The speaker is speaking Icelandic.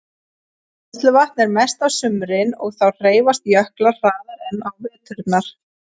Bræðsluvatn er mest á sumrin og þá hreyfast jöklar hraðar en á veturna.